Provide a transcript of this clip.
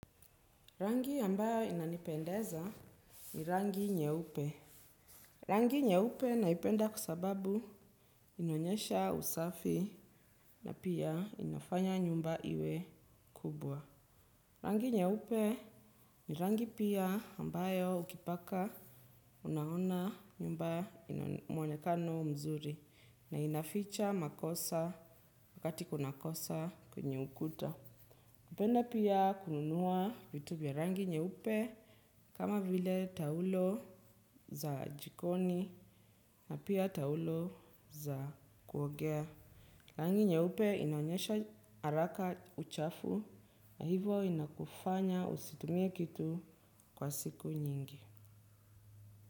Rangi ambayo inanipendeza ni rangi nyeupe. Rangi nyeupe naipenda kwa sababu hunionyesha usafi na pia inafanya nyumba iwe kubwa. Rangi nyeupe ni rangi pia ambayo ukipaka unaona nyumba ina mwonekano mzuri na inaficha makosa wakati kunakosa kwenye ukuta. Kupenda pia kununua vitu vya rangi nyeupe kama vile taulo za jikoni na pia taulo za kuogea. Rangi nyeupe inaonyesha haraka uchafu na hivo inakufanya usitumie kitu kwa siku nyingi.